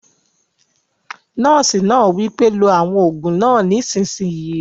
Nọ́ọ̀sì náà wí pé "lo àwọn òògùn náà nísìsiyìí!"